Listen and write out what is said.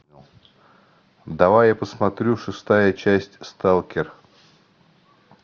давай я посмотрю шестая часть сталкер